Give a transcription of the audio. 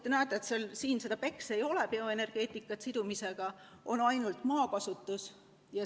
Te näete, siin seda BECCS-i ei ole – bioenergeetikat koos süsiniku sidumisega –, on ainult maakasutus.